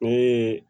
O ye